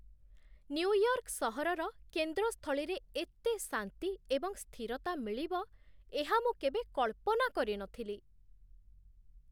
New York ସହରର କେନ୍ଦ୍ରସ୍ଥଳୀରେ ଏତେ ଶାନ୍ତି ଏବଂ ସ୍ଥିରତା ମିଳିବ, ଏହା ମୁଁ କେବେ କଳ୍ପନା କରି ନ ଥିଲି!